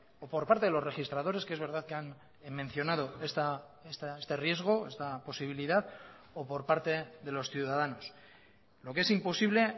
o por parte de los registradores que es verdad que han mencionado este riesgo esta posibilidad o por parte de los ciudadanos lo que es imposible